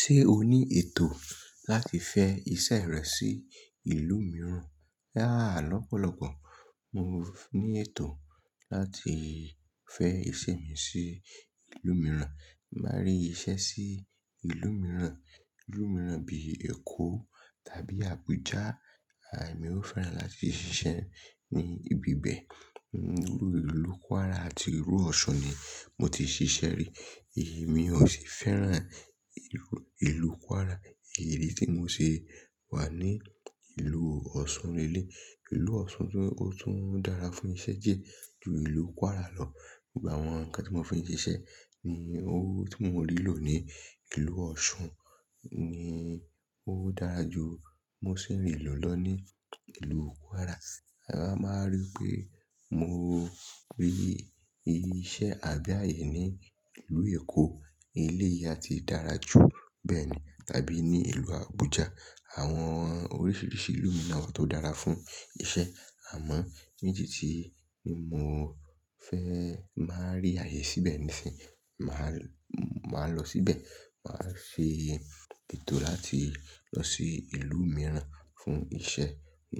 Ṣé o ní ètò láti fẹ́ iṣẹ́ rẹ sí ìlú mìíràn? Rárá, lọ́pọ̀lọpọ̀ mo ní ètò láti fẹ́ iṣẹ́ mi sí ìlú mìíràn. Máa rí iṣẹ́ sí ìlú mìíràn, ìlú mìíràn bíi Èkó tàbí Abuja, emi o fẹ́ràn láti ṣiṣẹ́ ní ibi bẹ́ẹ̀. Irú ìlú Kwara àti irú Ọ̀ṣun ni mo ti ṣiṣẹ́ rí, èmi ò sì fẹ́ràn ìlú Kwara. Èyí tí mo ṣe wà ní ìlú Ọ̀ṣun lelẹ́ẹ̀. Ìlú Ọ̀ṣun tún, ó tún dára fún iṣẹ́ díẹ ju ìlú Kwara lọ. Ìgbà àwọn nǹkan tí mo fi ń ṣiṣẹ́ ni o hun tí mio rí lò ní ìlú Ọ̀ṣun ni ó dára ju mo se n rí lò lọ ní ìlú Kwara. A máa rí pé mo rí iṣẹ́ àgá yi ní ìlú Èkó, ilé yá ti dára ju bẹ́ẹ̀ ni tàbí ní ìlú Abuja. Àwọn oríṣiríṣi ìlú mi na wa tó dára fún iṣẹ́. Àmọ́ ní tì tí mo fẹ́ máa rí ààyè síbẹ̀ nísìí, màá, màá lọ síbẹ̀. Màá ṣe ètò láti lọ sí ìlú mìíràn fún iṣẹ́.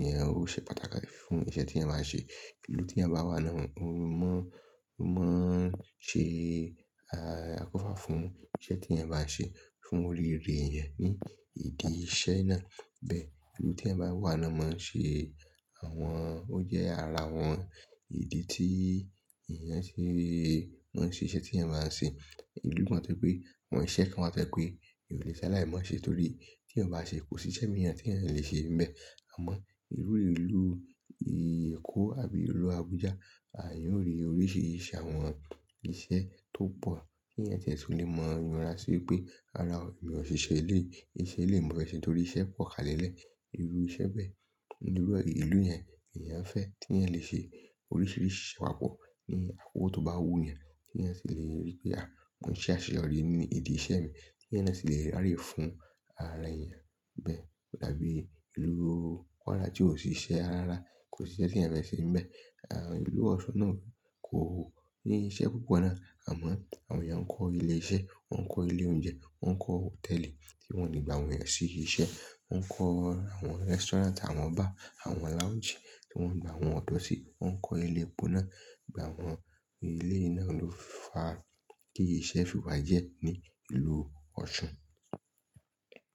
Ìyẹn oó ṣẹ pàtàkì fún iṣẹ́ tí eẹyan máa ṣe. Ìlú tí ẹyan bá wà náà ó mọ, ó máa n ṣe, a kò fà fún iṣẹ́ tí ẹ máa ṣe fún olùrìnrìn yẹn ní ìdí iṣẹ́ náà. Bẹ́ẹ̀, ìlú tí ẹ bá wà náà máa ṣe àwọn, ó jẹ́ ara àwọn ìdí tí èèyàn ṣe máa ṣe iṣẹ́ tí ẹ máa ṣe. Ìlú mi wa to je pé, àwọn iṣẹ́ kan máa tẹ́ pé ìwé ìṣẹ́ aláì mọ ṣe torí tí Ryan o bá ṣe kò sí iṣẹ́ mìíràn tí ẹ̀yan lè ṣe níbẹ̀. Àmọ́ irú ìlú Èkó àbí ìlú Abuja, àh eeyan ó rí oríṣiríṣi àwọn iṣẹ́ tó pọ̀ tí èèyàn tiẹ̀ tùn lè mọ yunra sí pé rara o lò ṣe iṣe eléyi, ìṣe eléyi mọ fẹ se torí iṣẹ́ pọ̀ kalẹ́lẹ̀. Irú iṣẹ́ bẹ́ẹ̀. Irú ìlú yẹn èèyàn fẹ́ tí ẹ lè ṣe oríṣiríṣi papọ̀ ní akoko tó bá wù yẹn. Tí ẹ sì lè rí pé àwọn iṣẹ́ àṣeyọrí ní ìdí iṣẹ́ mi tí ẹyan náà sì lè rí aaye fún ara èèyàn nibẹ̀ ko dabí ìlú Kwara tí ò sí iṣẹ́ ara ara, kò sí iṣẹ́ tí eeyan fẹ́ ṣe níbẹ̀. Àh ìlú Ọ̀ṣun náà kò ní iṣẹ́ púpọ̀ náà àmọ́ àwọn èèyàn ń kọ́ ilé iṣẹ́, wọ́n ń kọ́ ilé oúnjẹ, wọ́n ń kọ́ hòtẹ́ẹ̀lì tí wọ́n le gbà àwọn èèyàn sí iṣẹ́, wọ́n ń kọ́ àwọn restaurant, àwọn bar, àwọn lounge tí wọ́n gbà àwọn ọ̀dọ́ sí, wọ́n ń kọ́ ilé ipò náà. Ìgbà àwọn ilé náà ló fàá kí iṣẹ́ fìwá jẹ́ ní ìlú Ọ̀ṣun.